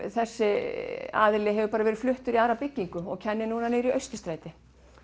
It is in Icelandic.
þessi aðili hefur verið fluttur í aðra byggingu og kennir nú í Austurstræti